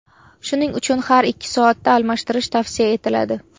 Shuning uchun har ikki soatda almashtirish tavsiya etiladi.